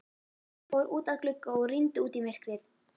Fór út að glugga og rýndi út í myrkrið.